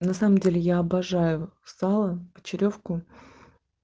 на самом деле я обожаю сало почеревку